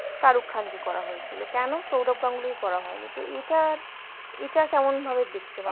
শাহরুখ খান কে করা হয়েছিল কেন? সৌরভ গানগুলি কে করা হয়েনি তো এটা, এটা কেমন ভাবে দেকছে বাঙ্গা